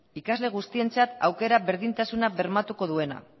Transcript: ikasle guztientzat aukera berdintasuna bermatuko duena